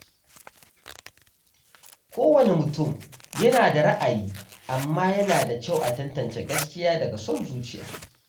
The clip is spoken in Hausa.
Kowane mutum yana da ra’ayi, amma yana da kyau a tantance gaskiya daga son zuciya.